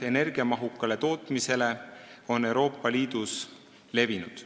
Energiamahukale tootmisele pakutavad leevendused on Euroopa Liidus levinud.